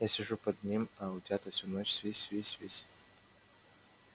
я сижу под ним а утята всю ночь свись свись свись